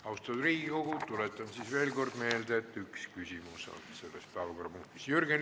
Austatud Riigikogu, tuletan veel kord meelde, et selle päevakorrapunkti arutelul saab igaüks esitada ühe küsimuse.